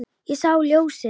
Ég sá ljósið